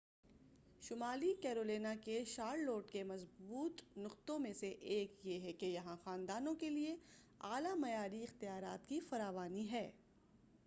شمالی کیرولینا کے شارلوٹ کے مضبوط نقطوں میں سے ایک یہ ہے کہ یہاں خاندانوں کیلئے اعلی معیاری اختیارات کی فراوانی ہے